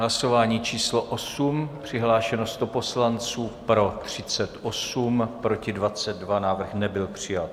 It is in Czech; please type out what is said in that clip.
Hlasování číslo 8, přihlášeno 100 poslanců, pro 38, proti 22, návrh nebyl přijat.